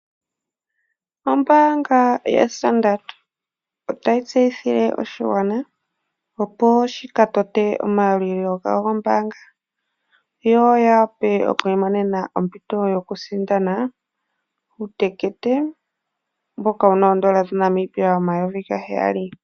Ombaanga yaStandard otayi tseithile oshigwana opo shi ka tote omayalulilo gawo gombaanga, yo ya wape oku imonena ompito yokusindana uutekete mboka wu na oondola dhaNamibia omayovi gaheyali.